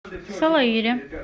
салаире